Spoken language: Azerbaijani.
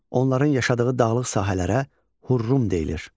Onların yaşadığı dağlıq sahələrə Hurrum deyilir.